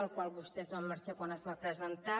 del qual vostès van marxar quan es va presentar